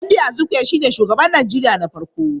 Nnamdi Azikiwe shine shugaban Najeriya na farko